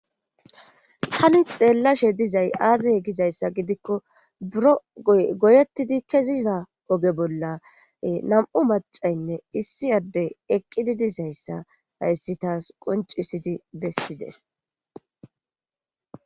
Tani xeellashe dizay aazey gizayssa gidikko buro goy goyettidi keziza oge bolla nam7u macaynne issi adde eqqidi dizayssa hayssi taas qoncisidi bessides.